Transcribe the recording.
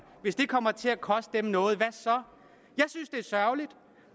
hvis det kommer til at koste dem noget hvad så jeg synes det er sørgeligt